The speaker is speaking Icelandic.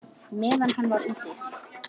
Meðan hann var úti?